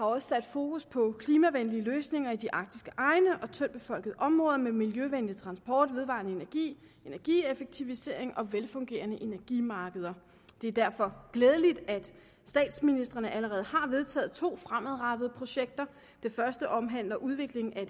også sat fokus på klimavenlige løsninger i de arktiske egne og tyndtbefolkede områder med miljøvenlig transport vedvarende energi energieffektivisering og velfungerende energimarkeder det er derfor glædeligt at statsministrene allerede har vedtaget to fremadrettede projekter det første omhandler udvikling af